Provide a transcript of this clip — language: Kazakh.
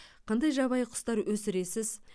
қандай жабайы құстар өсіресіз